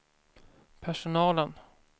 personalen